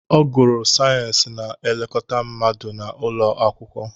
Ọ gụrụ sayensị na-elekọta mmadụ na ụlọ akwụkwọ